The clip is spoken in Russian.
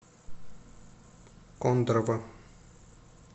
кондрово